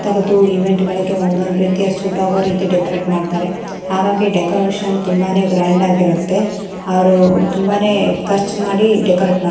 ತರದ್ದು ಇವೆಂಟ್ ಗಳಿಗೆ ಒಂದೊಂದು ರೀತಿಯ ಸೂಟ್ ಆಗೊ ರೀತಿ ಡೆಕೊರೇಟ್ ಮಡ್ತಾರೆ ಹಾಗಾಗಿ ಡೆಕೊರೇಷನ್ ತುಂಬಾನೆ ಗ್ರ್ಯಾಂಡ್ ಆಗಿರುತ್ತೆ ಅವ್ರು ತುಂಬಾನೆ ಕರ್ಚ್ ಮಾಡಿ ಡೆಕೊರೇಟ್ ಮ --